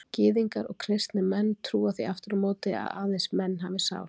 Gyðingar og kristnir menn trúa því aftur á móti að aðeins menn hafi sál.